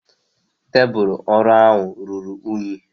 Tebụl ọrụ ahụ ruru unyi.